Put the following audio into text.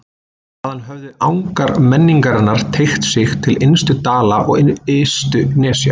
Þaðan höfðu angar menningarinnar teygt sig til innstu dala og ystu nesja.